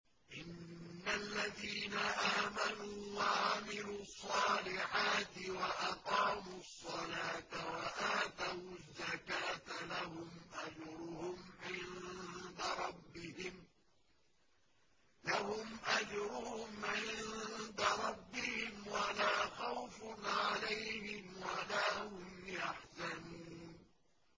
إِنَّ الَّذِينَ آمَنُوا وَعَمِلُوا الصَّالِحَاتِ وَأَقَامُوا الصَّلَاةَ وَآتَوُا الزَّكَاةَ لَهُمْ أَجْرُهُمْ عِندَ رَبِّهِمْ وَلَا خَوْفٌ عَلَيْهِمْ وَلَا هُمْ يَحْزَنُونَ